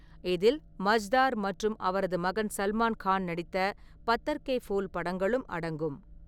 இதில் மஜ்தார் மற்றும் அவரது மகன் சல்மான் கான் நடித்த பத்தர் கே ஃபூல் படங்களும் அடங்கும்.